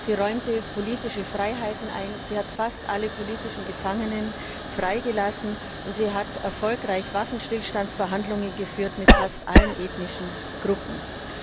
Sie räumte politische Freiheiten ein, sie hat fast alle politischen Gefangenen freigelassen und sie hat erfolgreich Waffenstillstandsverhandlungen mit fast allen ethnischen Gruppen geführt.